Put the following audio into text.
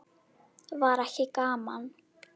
Var ekki gaman?